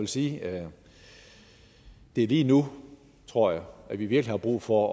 sige at det er lige nu tror jeg at vi virkelig har brug for